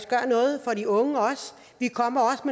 gøre noget for de unge vi kommer også